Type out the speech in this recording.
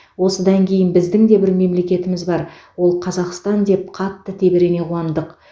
осыдан кейін біздің де бір мемлекетіміз бар ол қазақстан деп қатты тебірене қуандық